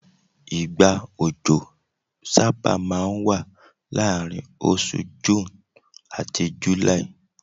igba ọjọ saba ma n wa laarin osù June ati July